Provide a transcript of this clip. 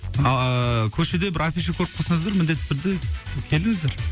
ааа көшеде бір афиша көріп қалсаңыздар міндетті түрде келіңіздер